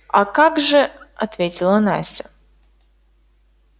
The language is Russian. а как же ответила настя